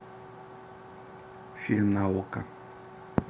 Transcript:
фильм на окко